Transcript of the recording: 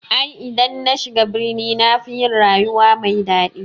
I dan nashiga birni nafi yin rayuwa mai daɗi.